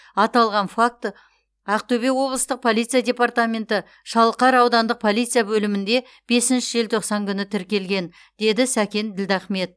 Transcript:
аталған факті ақтөбе облыстық полиция департаменті шалқар аудандық полиция бөлімінде желтоқсан күні тіркелген деді сәкен ділдахмет